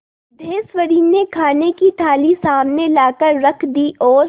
सिद्धेश्वरी ने खाने की थाली सामने लाकर रख दी और